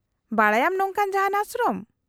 -ᱵᱟᱰᱟᱭᱟᱢ ᱱᱚᱝᱠᱟᱱ ᱡᱟᱦᱟᱸᱱ ᱟᱥᱨᱚᱢ ?